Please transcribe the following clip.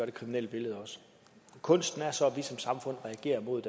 det kriminelle billede også kunsten er så at vi som samfund reagerer mod